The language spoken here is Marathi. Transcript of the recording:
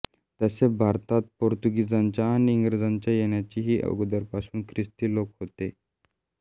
तसे भारतात पोर्तुगीजांच्या आणि इंग्रजांच्या येण्याच्या ही अगोदरपासून ख्रिस्ती लोक होते